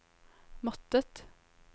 måttet